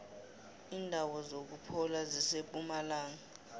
indawo zokuphola zisempumalanga